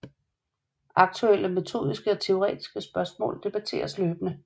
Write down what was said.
Aktuelle metodiske og teoretiske spørgsmål debatteres løbende